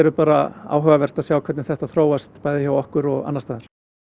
bara áhugavert að sjá hvernig þetta þróast bæði hjá okkur og annars staðar